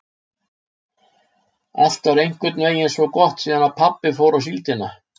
Allt var einhvern veginn svo gott síðan pabbi fór á síldina.